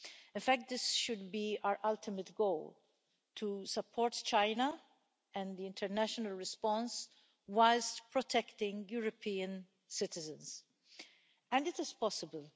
In fact, this should be our ultimate goal to support China and the international response whilst protecting European citizens, and it is possible.